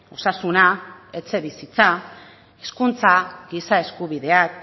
osasuna etxebizitza hezkuntza giza eskubideak